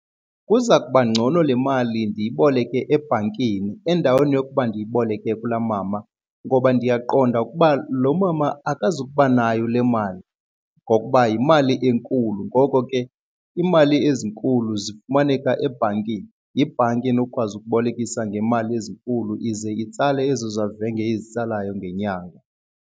Kuza kuba ngcono le mali ndiyiboleke ebhankini endaweni yokuba ndiyiboleke kulaa mama ngoba ndiyaqonda ukuba lo mama akazuba nayo le mali ngokuba yimali enkulu. Ngoko ke iimali ezinkulu zifumaneka ebhankini, yibhanki enokukwazi ukubolekisa ngemali ezinkulu ize itsale ezo zezavenge izitsalayo ngenyanga.